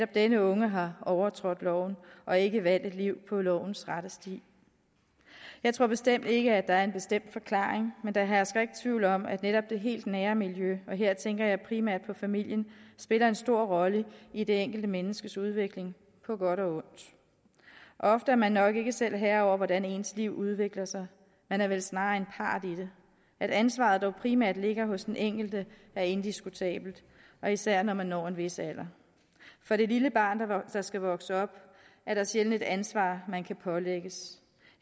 denne unge har overtrådt loven og ikke valgt et liv på lovens rette sti jeg tror bestemt ikke at der er en bestemt forklaring men der hersker ikke tvivl om at netop det helt nære miljø og her tænker jeg primært på familien spiller en stor rolle i det enkelte menneskes udvikling på godt og ondt ofte er man nok ikke selv herre over hvordan ens liv udvikler sig man er vel snarere en part i det at ansvaret dog primært ligger hos den enkelte er indiskutabelt og især når man når en vis alder for det lille barn der skal vokse op er der sjældent et ansvar man kan pålægges